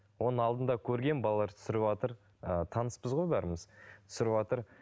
оның алдында көргенмін балалар түсіріпватыр ыыы таныспыз ғой бәріміз түсіріватыр